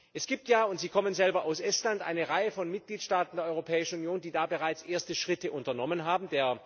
Es gibt ja und Sie kommen selber aus Estland eine Reihe von Mitgliedstaaten der Europäischen Union, die da bereits erste Schritte unternommen haben.